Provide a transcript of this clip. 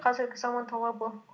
қазіргі заман талабы